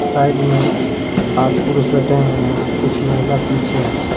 Side में पांच पुरुष बैठे हुए हैं कुछ महिला पीछे हैं।